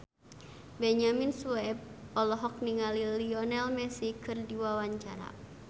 Benyamin Sueb olohok ningali Lionel Messi keur diwawancara